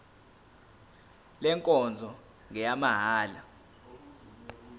le nkonzo ngeyamahala